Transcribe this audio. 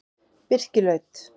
Birkilaut